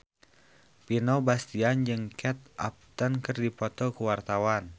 Vino Bastian jeung Kate Upton keur dipoto ku wartawan